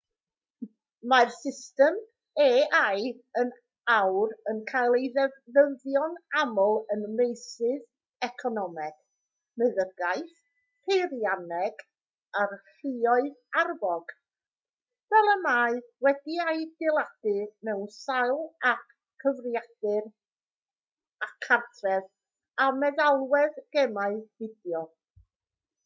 mae'r system ai yn awr yn cael ei defnyddio'n aml ym meysydd economeg meddygaeth peirianneg a'r lluoedd arfog fel y mae wedi'i adeiladu mewn sawl ap cyfrifiadur cartref a meddalwedd gemau fideo